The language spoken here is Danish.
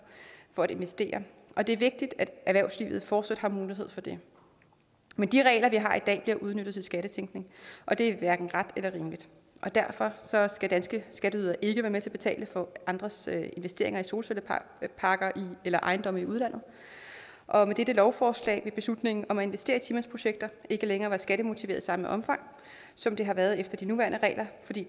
for at investere og det er vigtigt at erhvervslivet fortsat har mulighed for det men de regler vi har i dag bliver udnyttet til skattetænkning og det er hverken ret eller rimeligt og derfor skal danske skatteydere ikke være med til at betale for andres investeringer i solcelleparker eller ejendomme i udlandet og med dette lovforslag vil beslutningen om at investere i ti mandsprojekter ikke længere være skattemotiveret i samme omfang som det har været tilfældet efter de nuværende regler fordi